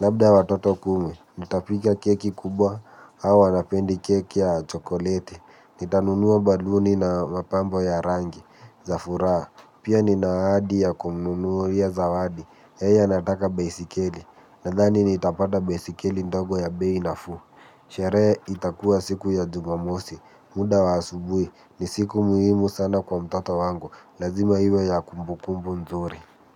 Labda watoto kumi. Nitapika keki kubwa. Hawa wanapenda keki ya chokoleti. Nitanunuwa baluni na mapambo ya rangi. Za furaha. Pia nina ahadi ya kumnunulia zawadi. Yeye anataka baisikeli. Nadhani nitapata baisikeli ndogo ya bei nafuu. Sherehe itakuwa siku ya jumamosi. Muda wa asubuhi ni siku muhimu sana kwa mtoto wangu. Lazima iwe ya kumbukumbu nzuri.